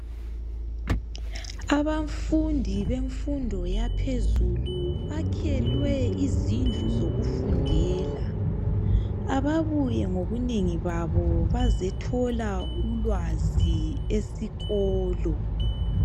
Abafundi bemfundo yaphezulu bakhelwe izindlu zokufundela, ababuye ngobunengi babo bazothola ulwazi esikolo.